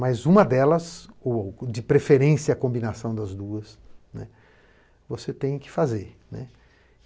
Mas uma delas, ou de preferência a combinação das duas, você tem que fazer.